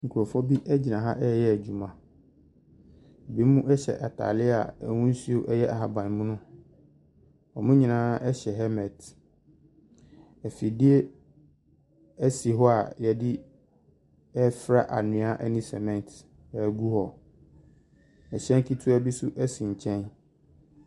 Nkurɔfoɔ gyina hɔ reyɛ adwuma. Binom hyɛ atare a n'ahosuo yɛ ahaban mono. Wɔn nyinaa hyɛ helmet. Afidie si hɔ a wɔde refra anwea ne cement agu hɔ. Hyɛn ketewa bi nso si nkyɛn.